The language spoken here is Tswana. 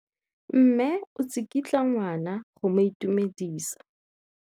Mme o tsikitla ngwana go mo itumedisa.